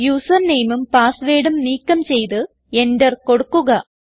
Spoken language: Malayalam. യൂസർ nameഉം passwordഉം നീക്കം ചെയ്ത് എന്റർ കൊടുക്കുക